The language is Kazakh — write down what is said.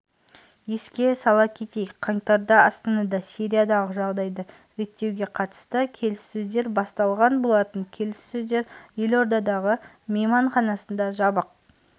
еске сала кетейік қаңтарда астанада сириядағы жағдайды реттеуге қатысты келіссөздер басталған болатын келіссөздер елордадағы мейманханасында жабық